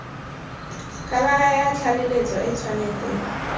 khabara ya tlaleletso e tshwanetse